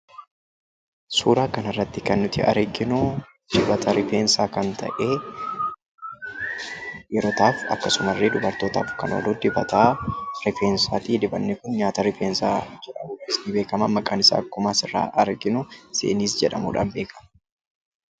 Suuraa kana irratti kan nuti arginu, dibata rifeensaa kan ta'e dhiirotaaf akkasuma dubartootaaf kan oolu dibata rifeensaati. Dibatni kun nyaata rifeensaa jedhamuun beekama. Maqaan isaa akkuma asirraa arginu zeeniz (zenith) jedhamuun beekama.